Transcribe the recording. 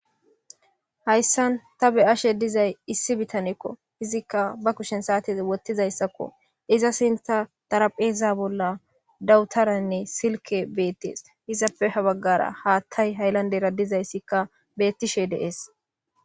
hayssan ta be7ashe dizay issi bitanekko izikka ba kushen saate wottizayssakko iza sinta darapheeza bolla dawutaranne silke beettees izappe ha baggara haattay haylandera dizayssikka beettishe de7es